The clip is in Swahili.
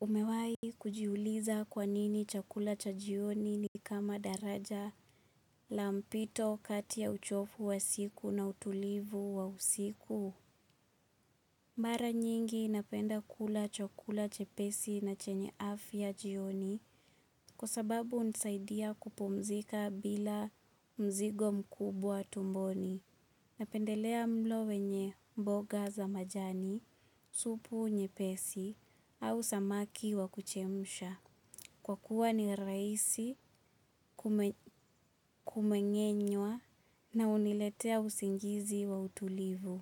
Umewahi kujiuliza kwanini chakula cha jion nikama daraja la mpito kati ya uchovu wa siku na utulivu wa usiku. Mara nyingi napenda kula chakula chepesi na chenye afya jioni kwa sababu hunisaidia kupumzika bila mzigo mkubwa tumboni. Napendelea mlo wenye mboga za majani, supu nyepesi au samaki wa kuchemsha. Kwa kuwa ni rahisi kumeng'e nywa na huniletea usingizi wa utulivu.